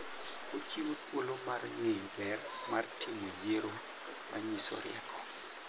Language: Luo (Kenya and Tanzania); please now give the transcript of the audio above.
Ochiwo thuolo mar ng'eyo ber mar timo yiero manyiso rieko.